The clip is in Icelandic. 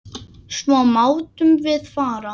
Svo máttum við fara.